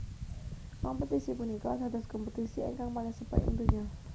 Kompetisi punika dados kompetisi ingkang paling sepuh ing donya